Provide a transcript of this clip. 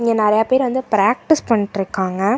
இங்க நெறையா பேர் வந்து பிராக்டிஸ் பண்ணிட்ருக்காங்க.